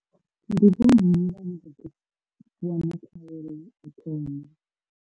Ndi vho nnyi vhane vha ḓo wana khaelo u thoma?